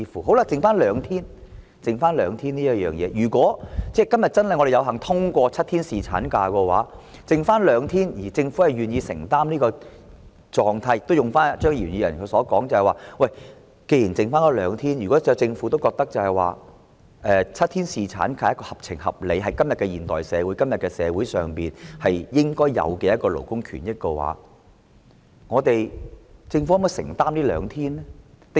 餘下增加兩天侍產假的問題，如果今天有幸通過7天侍產假，而政府願意承擔這種狀態，而且正如張宇人議員所說，既然只相差兩天，如果政府認為7天侍產假合情合理，是在今天的現代社會應有的勞工權益，政府可否承擔這兩天的款項呢？